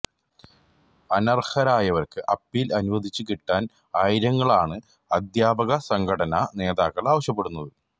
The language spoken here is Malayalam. അനർഹരായവർക്ക് അപ്പീൽ അനുവദിച്ചു കിട്ടാൻ ആയിരങ്ങളാണ് അധ്യാപക സംഘടനാ നേതാക്കൾ ആവശ്യപ്പെടുന്നത്